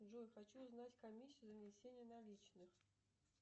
джой хочу узнать комиссию за внесение наличных